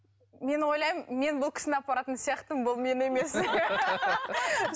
мен ойлаймын мен бұл кісіні апаратын сияқтымын бұл мені емес